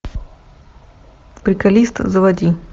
приколист заводи